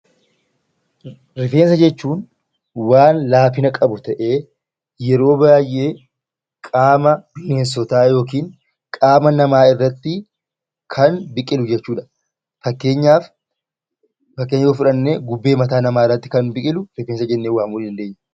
Rifeensa jechuun waan laafina qabu ta'ee, yeroo baay'ee qaama bineensotaa yookiin qaama namaa irratti kan biqilu jechuu dha. Fakkeenya yoo fudhannee gubbee mataa nsmaa irratti kan biqilu 'Rifeensa' jennee waamuu dandeenya.